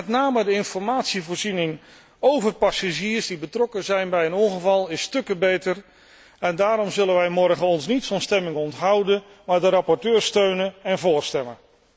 Met name de informatievoorziening over passagiers die betrokken zijn bij een ongeval, is stukken beter en daarom zullen wij ons morgen niet van stemming onthouden, maar de rapporteur steunen en vóór stemmen.